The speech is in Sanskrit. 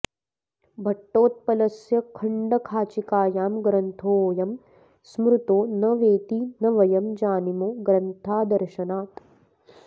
भट्टोत्पलस्य खण्डखाचीकायां ग्रन्थोऽयं स्मृतो न वेति न वयं जानीमो ग्रन्थादर्शनात्